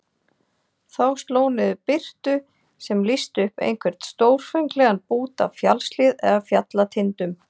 Þá sló niður birtu sem lýsti upp einhvern stórfenglegan bút af fjallshlíð eða fjallatindum.